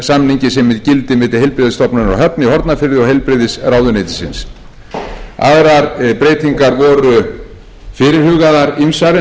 samningi sem er í gildi milli heilbrigðisstofnunarinnar á höfn í hornafirði og heilbrigðisráðuneytisins aðrar breytingar voru fyrirhugaðar ýmsar en þær áttu